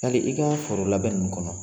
Yali i ka foro labɛn ninnu kɔnɔ